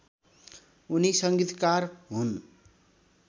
उनी सङ्गीतकार हुन्